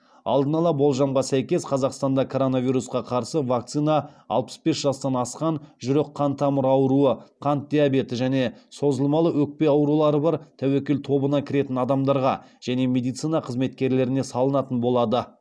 алдын ала болжамға сәйкес қазақстанда коронавирусқа қарсы вакцина алпыс бес жастан асқан жүрек қан тамыры ауруы қант диабеті және созылмалы өкпе аурулары бар тәуекел тобына кіретін адамдарға және медицина қызметкерлеріне салынатын болады